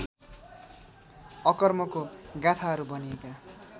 अकर्मको गाथाहरू भनिएका